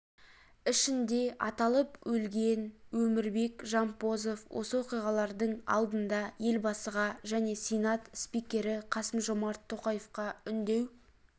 ішінде аталып өлген өмірбек жампозов осы оқиғалардың алдында елбасыға және сенат спикері қасымжомарт тоқаевқа үндеу